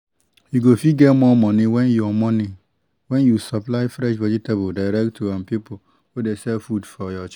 you go fit get more money when you money when you supply fresh vegetables direct to um people wey dey sell food for your church